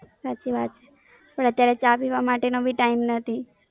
સાચી વાત, પણ અત્યારે ચા પીવા માટેનો બી Time નથી.